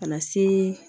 Ka na se